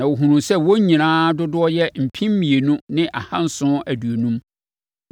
na wɔhunuu sɛ wɔn nyinaa dodoɔ yɛ mpem mmienu ne ahanson aduonum.